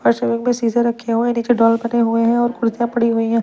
फर्श में शीशे रखे हुए हैं नीचे डॉल बने हुए हैं और कुर्सियां पड़ी हुई है।